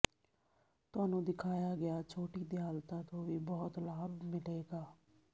ਤੁਹਾਨੂੰ ਦਿਖਾਇਆ ਗਿਆ ਛੋਟੀ ਦਿਆਲਤਾ ਤੋਂ ਵੀ ਬਹੁਤ ਲਾਭ ਮਿਲੇਗਾ